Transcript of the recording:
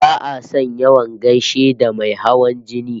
Ba'a son yawan gaishe da mai hawan jini